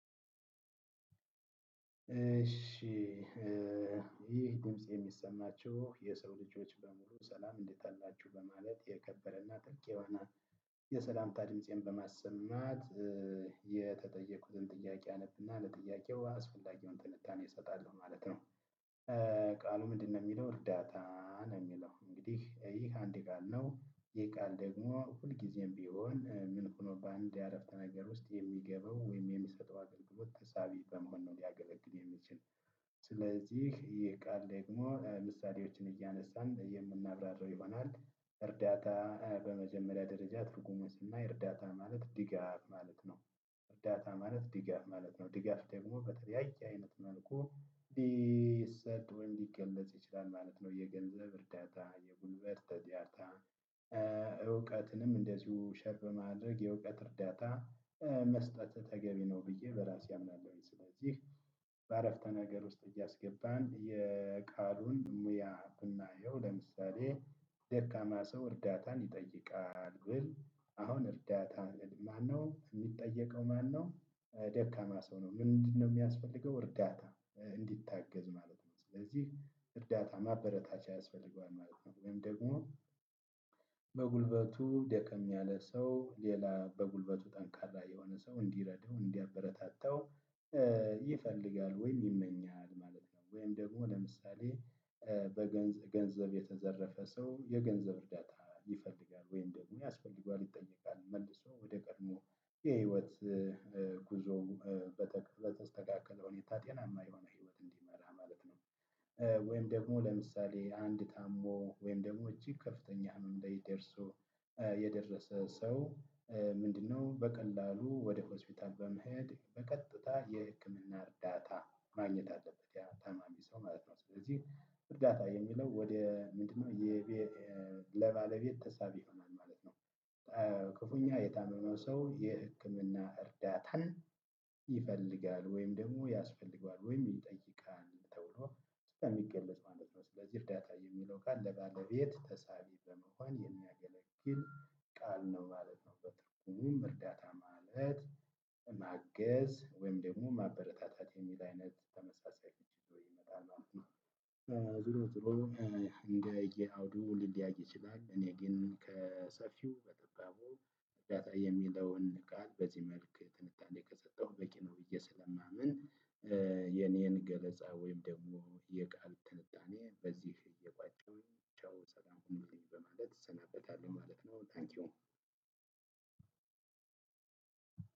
እሺ ይህ ድምጽ የሚሰማችሁ የሰው ልጆች በሙሉ ሰላም እንዴት አላችሁ በማለት የከበረና ጥልቅ የሆነ የሰላምታ ድምፄን በማሰማት የተጠየኩትን ጥያቄ አነብና ለጥያቄው አስፈላጊውን ትንታኔ እሰጣለው ማለት ነው። ቃሉ ምንድነው የሚለው እርዳታ ነው የሚለው እንግዲህ ይህ አንድ ቃል ነው ይህ ቃል ደግሞ ሁልጊዜም ቢሆን ምን ሆኖ በአንድ የአረፍተ ነገር ውስጥ የሚገባው ወይም የሚሰጠው አገልግሎት ተሳቢ በመሆኑ ሊያገለግል የሚችል ስለዚህ ይህ ቃል ደግሞ ምሳሌዎችን እያነሳን የምናብራራው ይሆናል። እርዳታ በመጀመሪያ ደረጃ ትርጉሙን ስናይ እርዳታ ማለት ድጋፍ ማለት ነው። እርዳታ ማለት ድጋፍ ማለት ነው ድጋፍ ደግሞ በተለያየ አይነት መልኩ ሊሰጥ ወይም ሊገለጽ ይችላል ማለት ነው። የገንዘብ እርዳታ፣ የጉልበት ተጥያታ እውቀትንም እንደዚሁ ሸርብ ማድረግ የእውቀት እርዳታ መስጠት ተገቢ ነው ብዬ በራሴ አምናለሁኝ ስለዚህ በአረፍተ ነገሩ ውስጥ እያስገባን የቃሉን ሙያ ብናየው ለምሳሌ ደካማ ሰው እርዳታን ይጠይቃል ግን አሁን እርዳታ ማነው የሚጠየቀው ማነው ደካማ ሰው ነው ምንድነው የሚያስፈልገው እርዳታ እንዲታገዝ ማለት ነው ስለዚህ እርዳታ ማበረታቻ ያስፈልገዋል ማለት ነው ወይም ደግሞ በጉልበቱ ደከም ያለ ሰው ሌላ በጉልበቱ ጠንካራ የሆነ ሰው እንዲረዳው እንዲያበረታታው ይፈልጋል ወይም ይመኛል ማለት ነው። ወይም ደግሞ ለምሳሌ በገንዝ ገንዘብ የተዘረፈ ሰው የገንዘብ እርዳታ ይፈልጋል ወይም ደግሞ ያስፈልገዋል ይጠየቃል መልሶ ወደ ቀድሞ የህይወት ጉዞ በተስተካከለው ሁኔታ ጤናማ የሆነ ህይወት እንዲመራ ማለት ነው። ወይም ደግሞ ለምሳሌ አንድ ታሞ ወይም ደግሞ እጅግ ከፍተኛ ህመም ላይ ደርሶ የደረሰ ሰው ምንድነው በቀላሉ ወደ ሆስፒታል በመሄድ በቀጥታ የህክምና እርዳታ ማግኘት አለበት ያን ታማሚ ሰው ማለት ነው። ስለዚህ እርዳታ የሚለው ወደ ምንድነው የ ለባለቤት ተሳቢ ይሆናል ማለት ነው። ክፉኛ የታመነው ሰው የህክምና እርዳታን ይፈልጋል ወይም ደግሞ ያስፈልገዋል ወይም ይጠይቃል ተብሎ ስለሚገለጽ ማለት ነው። ስለዚህ እርዳታ የሚለው ቃል ለባለቤት ተሳቢ በመሆን የሚያገለግል ነው ማለት ነው በትርጉሙም እርዳታ ማለት ማገዝ ወይም ደግሞ ማበረታታት የሚል አይነት ተመሳሳይ ፍቺ ይዞ ይመጣል ማለት ነው። ዝሮ ዝሮ እንደ የአውዱ ሊለያይ ይችላል እኔ ግን ከሰፊው በጠባቡ እርዳታ የሚለውን ቃል በዚህ መልክ ትንታኔ ከሰጠሁ በቂ ነው ብዬ ስለማምን የኔን ገለጻ ወይም ደግሞ የቃል ትንታኔ በዚህ እየቋጨሁኝ ቻው ሰላም ሁኑልኝ በማለት እሰናበታለሁ ማለት ነው ታንኪው